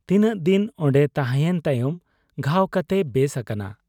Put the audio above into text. ᱛᱤᱱᱟᱹᱜ ᱫᱤᱱ ᱚᱱᱰᱮ ᱛᱟᱦᱮᱸᱭᱮᱱ ᱛᱟᱭᱚᱢ ᱜᱷᱟᱣ ᱠᱟᱛᱮᱭ ᱵᱮᱥ ᱟᱠᱟᱱᱟ ᱾